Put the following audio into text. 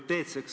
Aitäh!